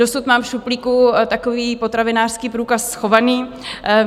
Dosud mám v šuplíku takový potravinářský průkaz schovaný.